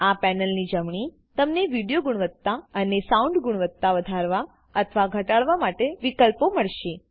આ પેનલની જમણી તમને વિડિઓ ગુણવત્તા અને સાઉન્ડ ગુણવત્તા વધારવા અથવા ઘટાદવા માટે વિકલ્પો મળશે